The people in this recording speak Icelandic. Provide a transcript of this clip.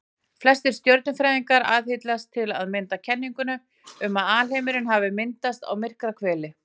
Flestir stjörnufræðingar aðhyllast til að mynda kenninguna um að alheimurinn hafi myndast við Miklahvell.